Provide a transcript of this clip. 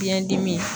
Biyɛn dimi